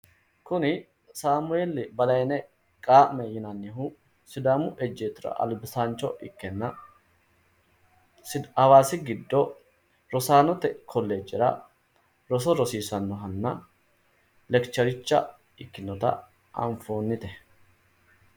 Kuni samueeli balayne qaa'me yinannihu sidaaamu ejjeettora albisaancho ikkenna awaasi giddo rosaanote kolleejera roso rosiisannohanna.